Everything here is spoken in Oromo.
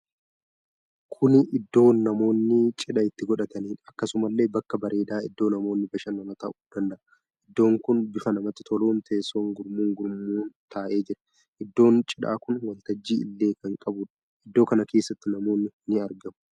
Kuni iddoo namoonni cidha itti godhataniidha. Akkasumallee bakka bareedaa iddoo namoonni bashannan ta'uu danda.a. Iddoon kun bifa namatti toluun teessoon gurmuu gurmuun taa'ee jira. Iddoon cidhaa kun waltajjii illee kan qabuudha. Iddoo kana keessatti namoonni ni argamuu?